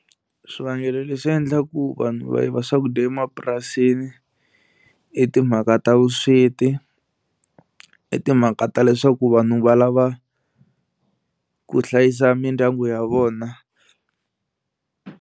Swivangelo leswi endlaku vanhu va yiva swakudya emapurasini i timhaka ta vusweti, i timhaka ta leswaku vanhu va lava ku hlayisa mindyangu ya vona.